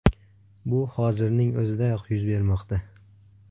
Bu hozirning o‘zidayoq yuz bermoqda.